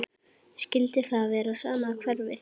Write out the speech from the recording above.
Skyldi það vera sama hverfið?